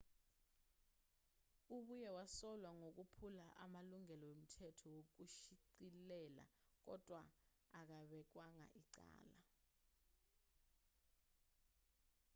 ubuye wasolwa ngokuphula amalungelo emithetho yokushicilela kodwa akabekwanga icala